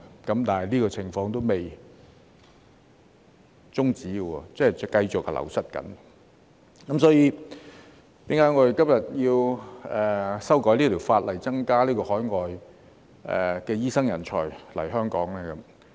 但是，這個情況仍未終止，即醫生仍繼續流失，所以我們今天要修改法例，增加海外醫生人才來香港。